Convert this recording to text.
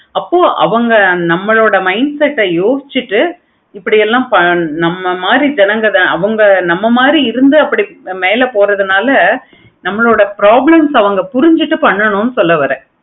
அப்போ அவங்க mindset ஆஹ் யோசிச்சிட்டு இப்படி எல்லாம் நம்மள மாதிரி நம்மள மாதிரி இருந்து மேல போறவங்க நம்மளையோட problems ஆஹ் அவங்க புரிஞ்சிகிட்டு பண்ணனும் சொல்ல வரேன்